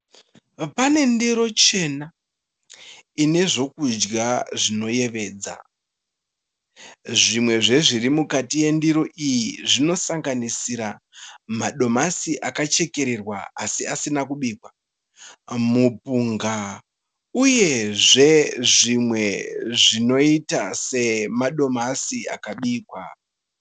Pane ndiro chena ine zvokudya zvinoyevedza. Zvimwe zvezviri mukati mendiro iyi zvinosanganisira madomasi akachekererwa asi asina kubikwa mupunga uyezve zvimwe zvinoita semadomasi akabikwa.